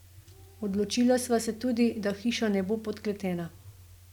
Odločila sva se tudi, da hiša ne bo podkletena.